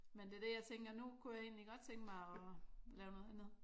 Men det er det jeg tænker nu kunne jeg egentlig godt tænkte mig at lave noget andet